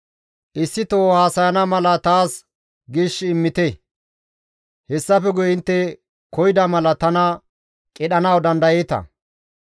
Issito haasayana mala taas gishi immite; hessafe guye intte koyida mala tana qidhanawu dandayeeta.